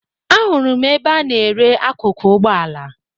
Ahụrụ m ebe a na-ere akụkụ ụgbọala